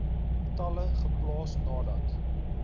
tale geplaas nadat